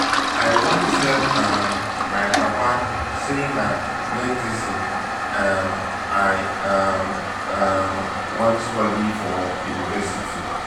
i wan tell um my papa say na medicine um i um um wan study for university